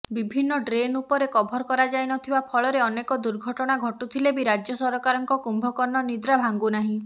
ବିଭିନ୍ନ ଡ୍ରେନ ଉପରେ କଭର କରାଯାଇନଥିବା ଫଳରେ ଅନେକ ଦୁର୍ଘଟଣା ଘଟୁଥିଲେ ବି ରାଜ୍ୟସରକାରଙ୍କ କୁମ୍ଭକର୍ଣ୍ଣ ନିଦ୍ରା ଭାଙ୍ଗୁନାହିଁ